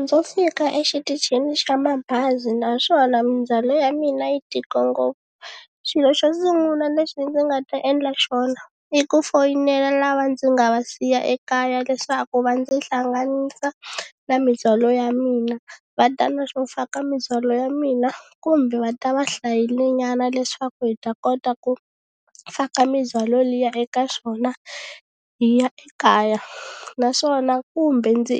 Ndzo fika exitichini xa mabazi naswona mindzhwalo ya mina yi tika ngopfu xilo xo sungula lexi ndzi nga ta endla xona i ku foyinela lava ndzi nga va siya ekaya leswaku va ndzi hlanganisa na mindzwalo ya mina va ta na swo faka mindzhwalo ya mina kumbe va ta va hlayile nyana leswaku hi ta kota ku faka mindzwalo liya eka swona hi ya ekaya naswona kumbe ndzi